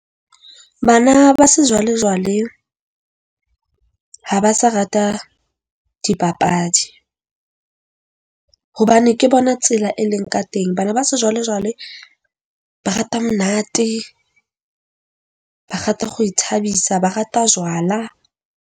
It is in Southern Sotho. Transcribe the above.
Bana ba sejwalejwale ha ba sa rata dipapadi, hobane ke bona tsela e leng ka teng. Bana ba sejwalejwale ba rata monate, ba rata go ithabisa, ba rata jwala.